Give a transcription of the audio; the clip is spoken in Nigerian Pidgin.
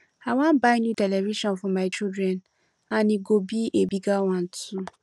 i wan buy new television for my children and e go be a bigger one too